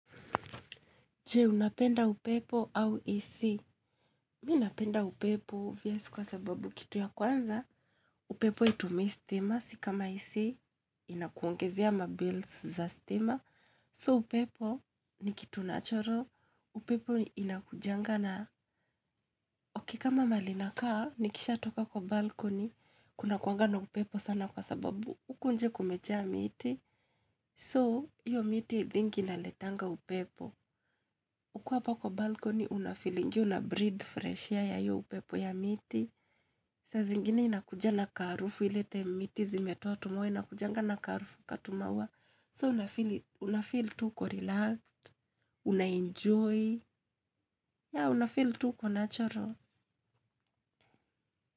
Je? Unapenda upepo au isi? Mi napenda upepo viasi kwa sababu kitu ya kwanza. Upepo itumisi stima, sikama isi inakuongezea mabils za stima. So upepo ni kitu natural. Upepo inakujanga na ok kama mali nakaa, nikisha toka kwa balkoni. Kunakuanga na upepo sana kwa sababu, uku nje kumeja miti. So, iyo miti i think inaletanga upepo. Ukiwa apa kwa balcony unafilingi una breathe fresh ya iyo upepo ya miti. Saa zingine inakuja na karufu ilete miti zimetoa tumaua inakujanga na karufu katumauwa. So unafili tu uko relax, unaenjoy, ya unafili tuko natural.